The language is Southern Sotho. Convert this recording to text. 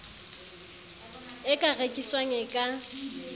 e ka rekiswang e ka